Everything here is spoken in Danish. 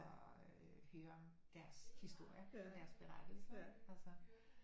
Og øh høre om deres historie deres berettelser ikke